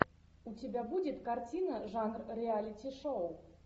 у тебя будет картина жанр реалити шоу